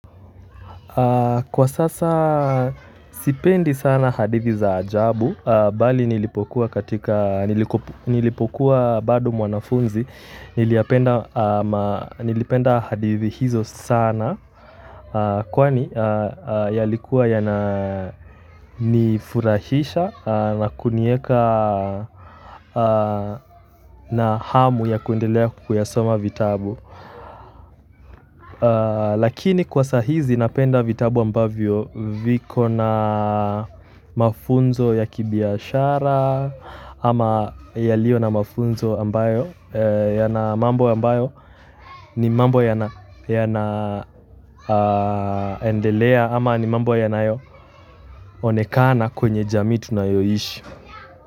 Kwa sasa sipendi sana hadithi za ajabu, bali nilipokuwa bado mwanafunzi, nilipenda hadithi hizo sana, kwani yalikuwa yana nifurahisha na kuniweka na hamu ya kuendelea kuyasoma vitabu. Lakini kwa sahizi napenda vitabu ambavyo viko na mafunzo ya kibiashara ama yaliyo na mafunzo ambayo yana mambo ambayo ni mambo yana endelea ama ni mambo yanayo onekana kwenye jamii tunayoishi.